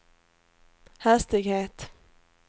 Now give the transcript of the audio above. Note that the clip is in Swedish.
hastighet